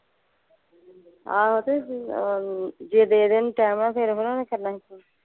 ਆਹੋ ਤੇ ਬੀ ਅਮ ਜੇ ਦੇ ਦੇਣ ਤੇ ਐਵੇਂ ਫੇਰ ਓਹਨਾਂ ਨੇ ਕਰਨਾ ਸੀ।